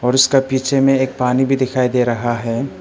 उसका पीछे में एक पानी भी दिखाई दे रहा है।